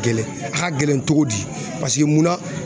Gɛlɛn a ka gɛlɛn cogo di munna